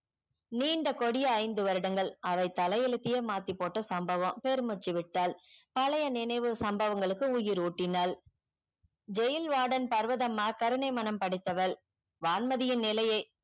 நிண்ட கோடியே ஐந்து வருடங்கள் அவ தலை எழுத்தே மாத்தி போட்ட சம்பவம் பேரும்முச்சி விட்டால் பழைய நினவு சம்பவங்களுக்கு உயிர் ஊட்டினால jail vodern பருவதாம்மா கருணை மணம் படைத்தவள் வான்மதி நிலையே